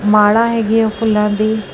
ਮਾਲਾ ਹੈਗੀ ਐ ਫੁੱਲਾਂ ਦੀ।